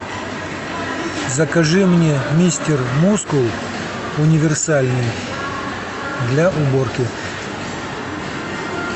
закажи мне мистер мускул универсальный для уборки